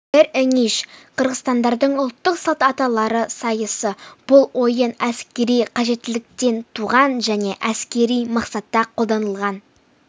эр эңиш қырғыздардың ұлттық салт аттылар сайысы бұл ойын әскери қажеттіліктен туған және әскери мақсатта қолданылған